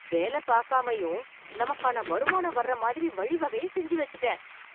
வேல பாக்காமையும் நமக்கான வருமான வர்ற மாதிரி வழிவகைய செஞ்சு வச்சுட்டேன்.